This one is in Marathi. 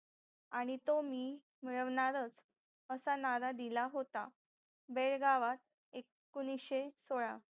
आणि तो मी मिळवणारच असा नारा दिला होता बेळगावात एकोणीशे सोळा